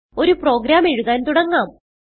ഒരു പ്രോഗ്രാം എഴുതാൻ തുടങ്ങാം